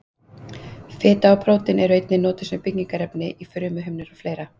Fita og prótín eru einnig notuð sem byggingarefni í frumuhimnur og fleira.